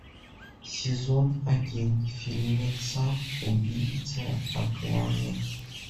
сезон один фильмеца убийца акаме